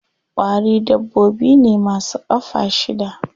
Ƙwari dabbobi ne ma su ƙafa shida.